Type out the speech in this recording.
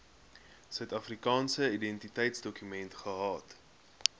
suidafrikaanse identiteitsdokument gehad